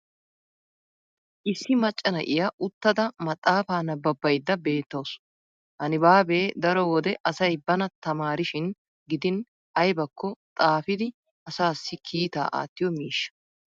issi macca na'iya uttada maxaafaa nabbabaydda beettawusu. ha nibaabee daro wode asay bana tamaarishin gidin aybbakko xaafiidi asaassi kiittaa aattiyo miishsha.